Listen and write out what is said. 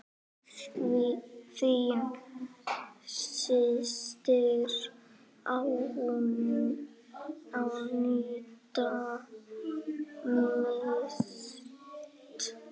Þín systir, Aníta Mist.